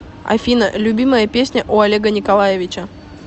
афина любимая песня у олега николаевича